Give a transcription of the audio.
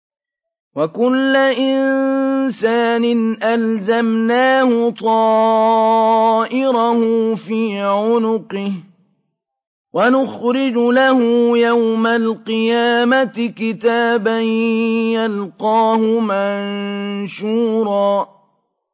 وَكُلَّ إِنسَانٍ أَلْزَمْنَاهُ طَائِرَهُ فِي عُنُقِهِ ۖ وَنُخْرِجُ لَهُ يَوْمَ الْقِيَامَةِ كِتَابًا يَلْقَاهُ مَنشُورًا